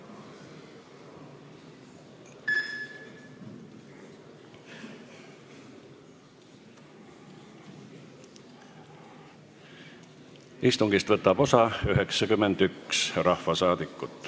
Kohaloleku kontroll Istungist võtab osa 91 rahvasaadikut.